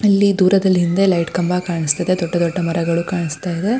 ಇಲ್ಲಿ ದೂರದಲ್ಲಿ ಹಿಂದೆ ಲೈಟ್ ಕಂಬ ಕಾಣಿಸ್ತಿದೆ ದೊಡ್ಡ್ ದೊಡ್ಡ ಮರಗಳು ಕಾಣಿಸ್ತಿದೆ.